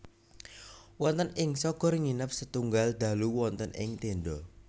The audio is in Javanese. Wonten ing Shogor nginep setunggal dalu wonten ing tenda